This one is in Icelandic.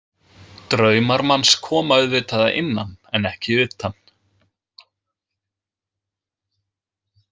Draumar manns koma auðvitað að innan en ekki utan.